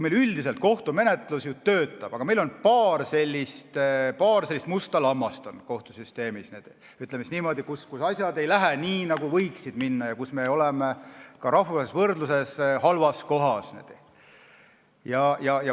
Meil üldiselt kohtumenetlus ju töötab, aga on paar sellist musta lammast kohtusüsteemis, ütleme siis niimoodi, kus asjad ei lähe nii, nagu võiksid minna, ja kus me oleme ka rahvusvahelises võrdluses halval kohal.